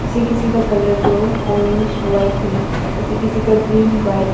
किसी किसी का कलर जो ऑरेंज व्हाईट है किसी किसी का ग्रीन व्हाइट --